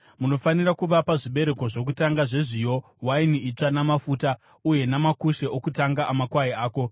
Munofanira kuvapa zvibereko zvokutanga zvezviyo, waini itsva namafuta, uye namakushe okutanga amakwai ako,